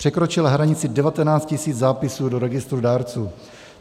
Překročila hranici 19 000 zápisů do registru dárců.